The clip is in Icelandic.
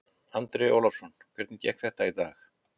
Andri Ólafsson: Hvernig gekk þetta í dag?